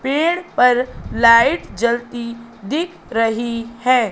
पेड़ पर लाइट जलती दिख रही है।